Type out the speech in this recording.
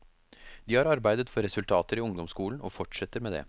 De har arbeidet for resultater i ungdomsskolen og fortsetter med det.